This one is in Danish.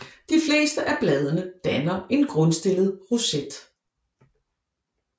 De fleste af bladene danner en grundstillet roset